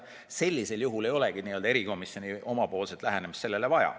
Sellisel juhul ei ole erikomisjoni lähenemist sellele vaja.